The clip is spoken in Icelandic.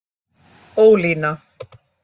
Ólína